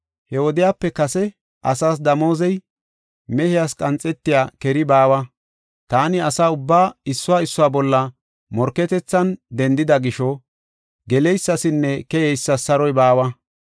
He wodiyape kase asaas damoozey, mehiyas qanxetiya keri baawa. Taani asa ubbaa issuwa issuwa bolla morketethan denthida gisho, geleysasinne keyeysas saroy baawa.